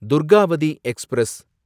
Durgavati express